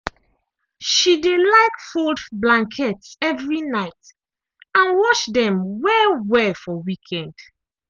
she dey like fold blankets evri night and wash dem well-well for weekend.